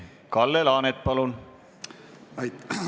Kalle Laanet, palun!